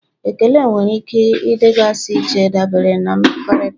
Ekele nwere ike ịdịgasị iche dabere na mmekọrịta.